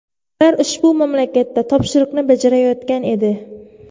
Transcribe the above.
Ular ushbu mamlakatda topshiriqni bajarayotgan edi.